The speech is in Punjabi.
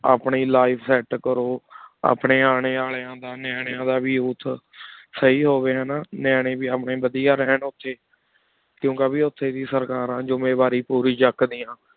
ਆਪਣੀ Life set ਅਪਨੀ ਆਨੀ ਅਲ੍ਯਨ ਦਾ ਕਰੁ ਨਿਆਲ੍ਯਾਂ ਦਾ ਵੇ ਉਸ ਸਹੀ ਹੁਵ੍ਯ ਹਾਨਾ ਨਿਆਲ੍ਯਨ ਵੇ ਅਪਨ੍ਯਨ ਵਾਦੇਯਾ ਰਹੂਂ ਕੁਨ ਕੀ ਉਠੀ ਸਰਕਾਰਨ ਜ਼ੁਮ੍ਯਨ ਵਾਰੀ ਪੂਰੀ ਚੂਕ ਦਯਾਨ